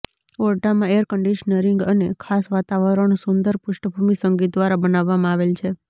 ઓરડામાં air conditioning અને ખાસ વાતાવરણ સુંદર પૃષ્ઠભૂમિ સંગીત દ્વારા બનાવવામાં આવેલ છે